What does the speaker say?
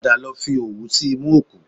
Padà lọ fi òwú sí imú òkú